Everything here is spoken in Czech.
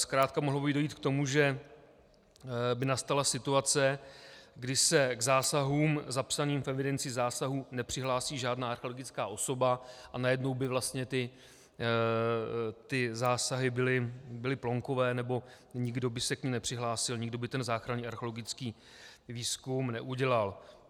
Zkrátka mohlo by dojít k tomu, že by nastala situace, kdy se k zásahům zapsaným v evidenci zásahů nepřihlásí žádná archeologická osoba a najednou by vlastně ty zásahy byly plonkové, nebo nikdo by se k nim nepřihlásil, nikdo by ten záchranný archeologický výzkum neudělal.